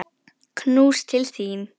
Knús til þín.